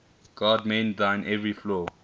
god mend thine every flaw